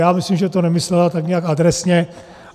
Já myslím, že to nemyslela tak nějak adresně.